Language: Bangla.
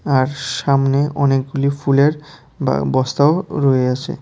আর সামনে অনেকগুলি ফুলের বা বস্তাও রয়য়াসে।